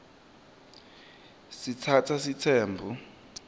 sitsatsa sitsembu